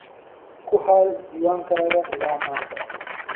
Ku hay diiwaankaaga illaa maanta.